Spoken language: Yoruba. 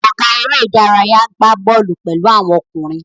Ọ̀gá eré-idárayá gbà bọ́ọ́lù pẹ̀lú àwọn ọkùnrin.